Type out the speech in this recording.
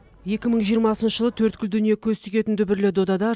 екі мың жиырмасыншы жылы төрткүл дүние көз тігетін дүбірлі додада